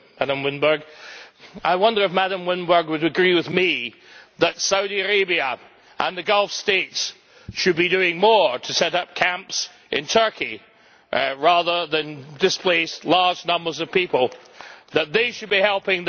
I wonder if Madam Winberg would agree with me that Saudi Arabia and the Gulf states should be doing more to set up camps in Turkey rather than displace large numbers of people, and that they should be helping their fellow Muslims.